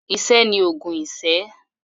Iṣẹ́ ni òògùn iṣẹ́.